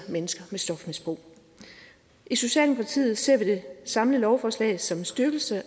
mennesker med stofmisbrug i socialdemokratiet ser vi det samlede lovforslag som en styrkelse